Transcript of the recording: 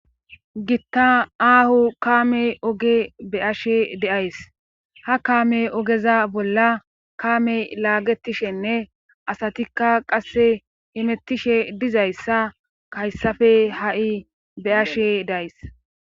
gitta aahu kaame oge be ashe deays ha kaame ogeza bolla kaamey laagetishenne asatikka qasse hemettishe dizayssa kayssafe ha7i beashe days